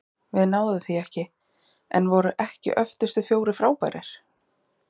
Við náðum því ekki- en voru ekki öftustu fjórir frábærir?